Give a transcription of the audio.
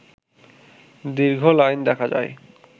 দীর্ঘ লাইন দেখা যায়